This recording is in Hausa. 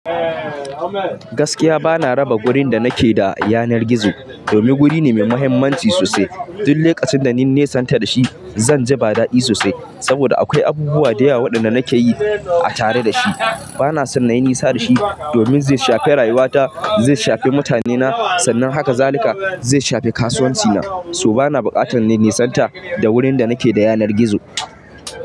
Gaskiya bana raba wurin da nake da yanar gizo domin wuri ne mai muhimmanci sosai. Tun lokacin da na nisanta da shi, zan ji ba daɗi sosai saboda akwai abubuwa da yawa waɗanda nake yi a tare da shi. Bana son na yi nisa da shi domin zai shafe rayuwata, zai shafe mutanena, sannan haka zalika zai shafe kasuwancina. So bana buƙatar na nisanta da wurin da nake da yanar gizo.